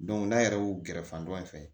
n'a yɛrɛ y'u gɛrɛ fan dɔ in fɛ